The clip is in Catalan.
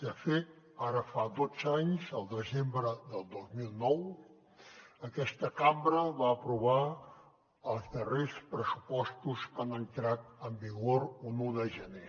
de fet ara fa dotze anys al desembre del dos mil nou aquesta cambra va aprovar els darrers pressupostos que han entrat en vigor un un de gener